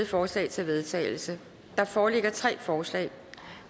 forslag til vedtagelse der foreligger tre forslag